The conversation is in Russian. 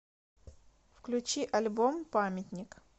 включи альбом памятник